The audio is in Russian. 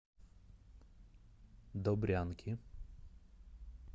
добрянки